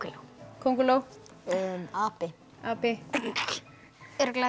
könguló api api örugglega